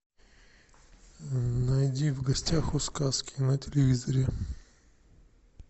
найди в гостях у сказки на телевизоре